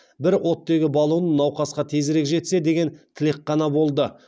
бір оттегі баллоны науқасқа тезірек жетсе деген тілек қана болды